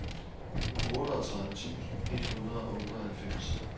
otteogtredive tusind et hundrede og otteoghalvfems